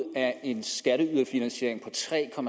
af en skatteyderfinansiering på tre